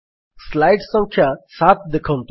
slide ସଂଖ୍ୟା 7 ଦେଖନ୍ତୁ